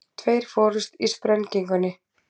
Tveir fórust í sprengingunni